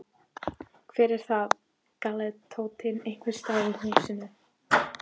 Hver er þar? galaði Tóti einhvers staðar úr húsinu.